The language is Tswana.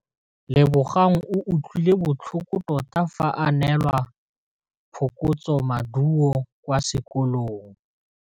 Lebogang o utlwile botlhoko tota fa a neelwa phokotsômaduô kwa sekolong.